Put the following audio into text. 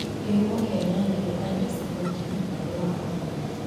Kihumo kĩa nyanya nĩ Andes mountains mũhuro wa Afrika.